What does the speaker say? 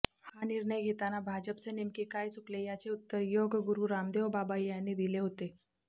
हा निर्णय घेताना भाजपचे नेमके काय चुकले याचे उत्तर योगगुरु रामदेव बाबा यांनी दिले होते